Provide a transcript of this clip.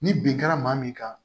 Ni bin kɛra maa min kan